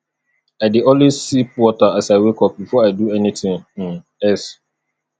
i dey always sip water as i wake up before i do anything um else